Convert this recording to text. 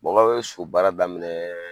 Baba bɛ so baara daminɛ